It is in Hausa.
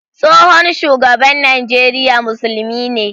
Tsohon shugaban Najeriya musulmi ne